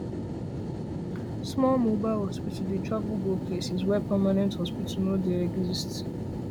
smalls mobile hospital dey travel go places where permanent hospitals no dy exist